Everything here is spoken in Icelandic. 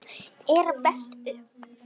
er velt upp.